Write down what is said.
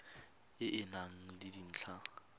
e e nang le dintlha